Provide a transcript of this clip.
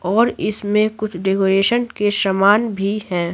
और इसमें कुछ डेकोरेशन के सामान भी हैं।